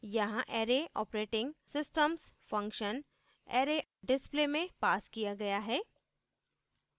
यहाँ array operating _ systems function array _ display में passed किया गया है